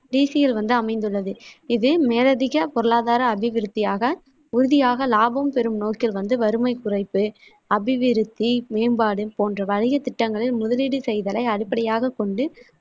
D C இல் வந்து அமைந்துள்ளது. இது மேலதிக பொருளாதார அபிவிருத்தியாக, உறுதியாக லாபம் பெரும் நோக்கில் வந்து வறுமை குறைப்பு, அபிவிருத்தி மேம்பாடு போன்ற வணிக திட்டங்களில் முதலீடு செய்தலை அடிப்படையாக கொண்டு